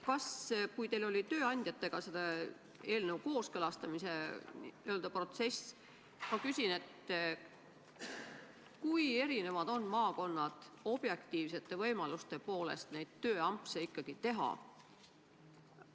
Kui te tööandjatega seda eelnõu kooskõlastasite, kas siis selgus, kui erinevad on maakonnad objektiivsete võimaluste poolest neid tööampse ikkagi teha?